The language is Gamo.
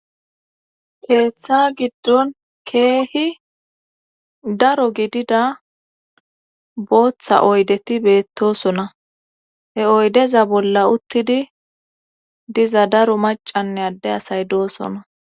Keeththa giddon keehi daro gidida booththa oydeti beettosona he oydeza bolla uttidi diza daro macanne adde asay doosona